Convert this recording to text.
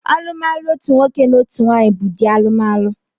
Alụmalụ otu nwoke na otu nwaanyị bụ ụdị alụmalụ